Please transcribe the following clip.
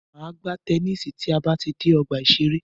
Máa gbá tennisi tí a bá ti dé ọgbà ìṣẹ̀rẹ́.